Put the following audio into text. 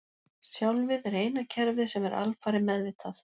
Sjálfið er eina kerfið sem er alfarið meðvitað.